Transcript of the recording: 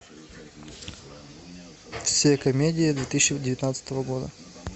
все комедии две тысячи девятнадцатого года